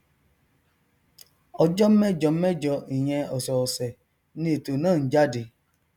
ọjọ mẹjọmẹjọ ìyẹn ọsọọsẹ ni ètò náà n jáde